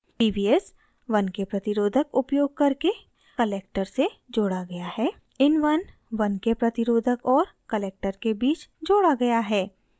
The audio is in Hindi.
pvs 1k प्रतिरोधक उपयोग करके collector से जोड़ा गया है